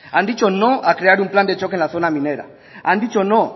han dicho no a crear un plan de choque en la zona minera han dicho no